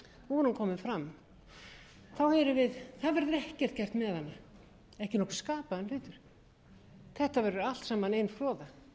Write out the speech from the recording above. komin fram við heyrum það verður ekkert gert með hana ekki nokkur skapaður hlutur þetta verður allt saman ein froða